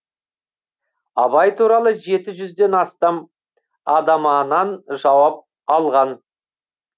абай туралы жеті жүзден астам адаманан жауап алған